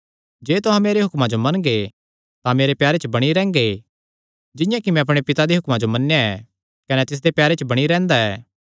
जे तुहां मेरे हुक्मां जो मनगे तां मेरे प्यारे च बणी रैंह्गे जिंआं कि मैं अपणे पिता दे हुक्मां जो मन्नेया ऐ कने तिसदे प्यारे च बणी रैंह्दा ऐ